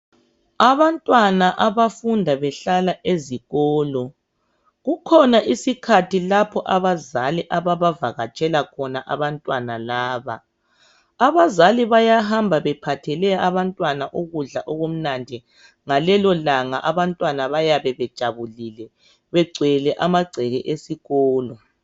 abantwana abafunda behlala ezikolo kukhona isikhathi lapho abazali ababavakatshela khona abantwana laba abazali bayahamba bephathele abantwana ukudla okumnandi ngalelolanga abantwana bayabe bejabulile begcwele amagceke esikolo